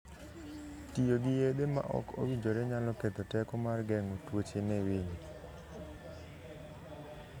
Tiyo gi yedhe ma ok owinjore nyalo ketho teko mar geng'o tuoche ne winy.